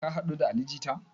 Ka haɗu da ali jita?